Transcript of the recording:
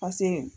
Paseke